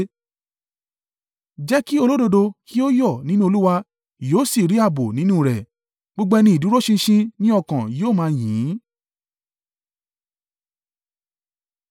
Jẹ́ kí olódodo kí ó yọ̀ nínú Olúwa yóò sì rí ààbò nínú rẹ̀. Gbogbo ẹni ìdúró ṣinṣin ní ọkàn yóò máa yìn ín.